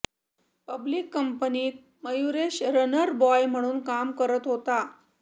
public कंपनीत Mayuresh runner boy म्हणून काम करत होता